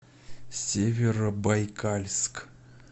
северобайкальск